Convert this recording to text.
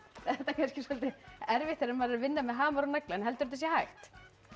kannski soldið erfitt þegar maður er að vinna með hamar og nagla en heldurðu að þetta sé hægt